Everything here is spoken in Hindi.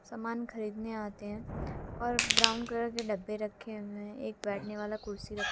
समान खरीदने आते हैं और ब्राउन कलर के डब्बे रखे हुए है एक बैठने वाला कुर्सी रख--